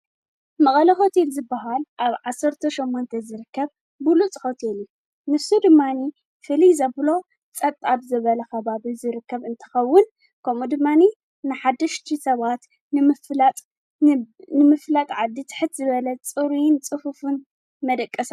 ንገያሾን ኣጋይሽን መንበሪ ኣባይቲ ዝህቡ ትካላት እዮም። ከም ክፍልታት፡ መግብን ካልእ ናይ ኣጋይሽ ምቕባል መሳለጥያታትን ዝኣመሰሉ ኣገልግሎታት ይህቡ። ሆቴላት ድሌታት በጻሕትን ንግዳዊ በጻሕትን ንምምላእ ብንግዳዊ መሰረት ይሰርሓ።